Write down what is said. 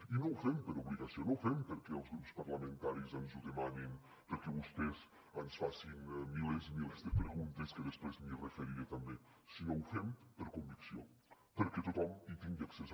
i no ho fem per obligació no ho fem perquè els grups parlamentaris ens ho demanin perquè vostès ens facin milers i milers de preguntes que després m’hi referiré també sinó que ho fem per convicció perquè tothom hi tingui accés